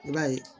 I b'a ye